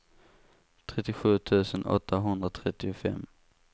trettiosju tusen åttahundratrettiofem